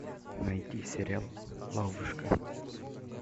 найди сериал ловушка